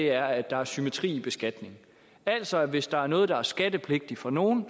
er at der er symmetri i beskatningen altså hvis der er noget der er skattepligtigt for nogle